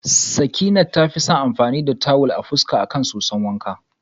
Sakinat tafi son amfani da tuwil a fuska akan soson wanka.